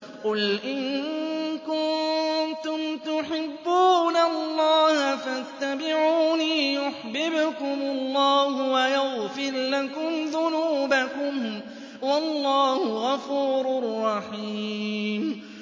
قُلْ إِن كُنتُمْ تُحِبُّونَ اللَّهَ فَاتَّبِعُونِي يُحْبِبْكُمُ اللَّهُ وَيَغْفِرْ لَكُمْ ذُنُوبَكُمْ ۗ وَاللَّهُ غَفُورٌ رَّحِيمٌ